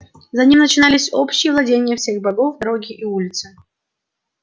за ним начинались общие владения всех богов дороги и улицы